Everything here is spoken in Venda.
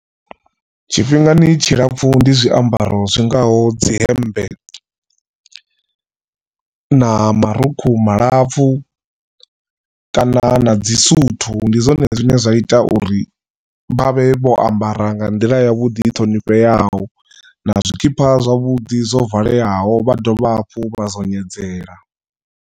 Tshifhingani tshilapfu ndi zwiambaro zwingaho dzi hemmbe na marukhu malapfu kana na dzi suthu ndi zwone zwine zwa ita uri vha vhe vho ambara nga nḓila yavhuḓi i ṱhonifheaho na zwikipa zwavhuḓi zwo valeaho vha dovha hafhu vha zwo nyeledzea.